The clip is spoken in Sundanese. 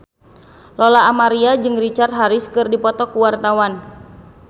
Lola Amaria jeung Richard Harris keur dipoto ku wartawan